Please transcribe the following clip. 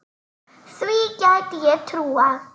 Því gæti ég trúað